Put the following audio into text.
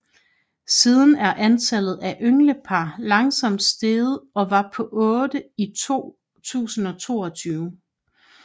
Siden er antallet af ynglepar langsomt steget og var på otte i 2022